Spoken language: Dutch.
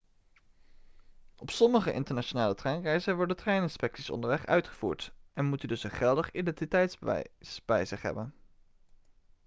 op sommige internationale treinreizen worden treininspecties onderweg uitgevoerd en moet u dus een geldig identiteitsbewijs bij zich hebben